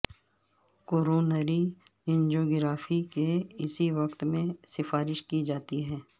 coronary angiography کے اسی وقت میں سفارش کی جاتی ہے